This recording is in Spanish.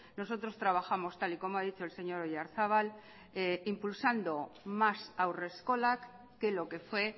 nosotros trabajamos tal y como ha dicho el señor oyarzabal impulsando más haurreskolak que lo que fue